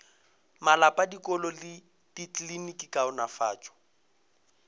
malapa dikolo le dikliniki kaonafatšo